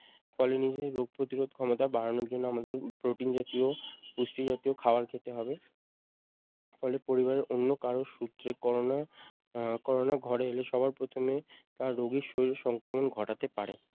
পরে নিজের রোগ প্রতিরোধ ক্ষমতা বাড়ানোর জন্য আমাদের প্রোটিন জাতীয়, পুষ্টিজাতীয় খাবার খেতে হবে। ফলে পরিবারে অন্য কারো সূত্রে করোনা আহ করোনা ঘরে এলে সবার প্রথমে আহ রোগীর শরীরে সংক্রমণ ঘটাতে পারে।